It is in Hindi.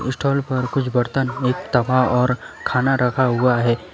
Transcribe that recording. स्टॉल पर कुछ बर्तन एक तवा और खाना रखा हुआ है।